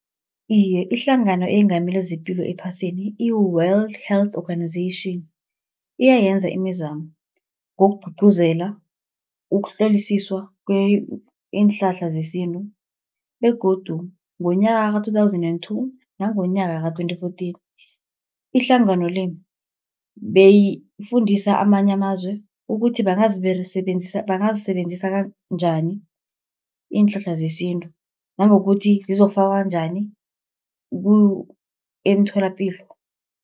Iye ihlangano eyengamele zepilo ephasini, i-World Health Organization, iyayenza imizamo ngokugcugcuzela ukuhlolisiswa iinhlahla zesintu, begodu ngonyaka ka-two thousand and two, nangonyaka ka-twenty fourteen ihlangano le, beyifundisa amanye amazwe ukuthi bangasebenzisa njani iinhlahla zesintu, nangokuthi zizokufakwa njani emtholapilo.